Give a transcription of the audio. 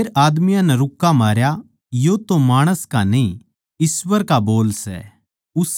फेर आदमियाँ नै रूक्का मारया यो तो माणस का न्ही ईश्‍वर का बोल सै